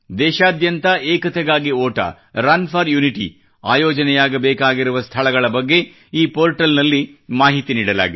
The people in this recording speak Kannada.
ದೇಶಾದ್ಯಂತ ಏಕತೆಗಾಗಿ ಓಟ ರನ್ ಫೋರ್ ಯುನಿಟಿ ಆಯೋಜನೆಯಾಗ ಬೇಕಾಗಿರುವ ಸ್ಥಳಗಳ ಬಗ್ಗೆ ಈ ಪೋರ್ಟಲ್ ನಲ್ಲಿ ಮಾಹಿತಿ ನೀಡಲಾಗಿದೆ